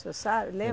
O senhor sabe